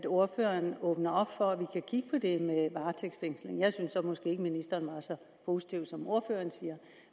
ordføreren åbner op for at vi kan kigge på det med varetægtsfængsling jeg synes så måske ikke at ministeren var så positiv som ordføreren siger